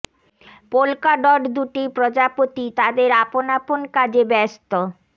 polka dot দুটি প্রজাপতি তাদের আপন আপন কাজে ব্যস্ত